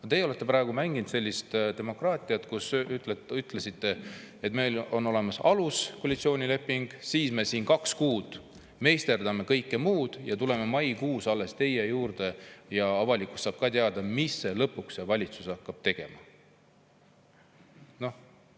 Aga teie olete praegu mänginud sellist demokraatiat, et ütlesite, et teil on olemas aluskoalitsioonileping, siis te kaks kuud meisterdate kõike muud ja alles maikuus tulete meie juurde ja avalikkus saab ka teada, mida see valitsus lõpuks tegema hakkab.